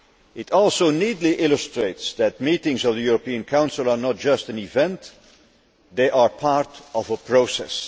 It also neatly illustrates that meetings of the European Council are not just an event they are part of a process.